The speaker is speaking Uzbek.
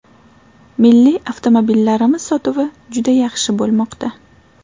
Milliy avtomobillarimiz sotuvi juda yaxshi bo‘lmoqda.